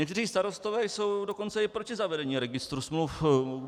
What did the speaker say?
Někteří starostové jsou dokonce i proti zavedení registru smluv.